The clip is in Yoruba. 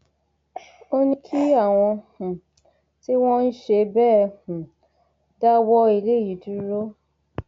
ó ní kí àwọn um tí wọn ń ṣe bẹẹ um dáwọ eléyìí dúró